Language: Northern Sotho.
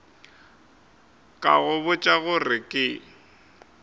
ka go botša gore ke